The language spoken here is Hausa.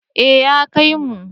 Ee ya kaimu.